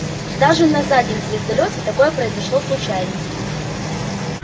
даже на заднем звездолёте такое произошло случайно